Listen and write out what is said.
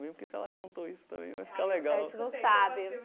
Porque se ela contou isso também, vai ficar legal. A gente não sabe.